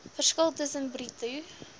verskil tussen bruto